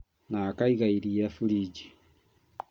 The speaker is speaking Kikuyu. Na akaiga iria burinji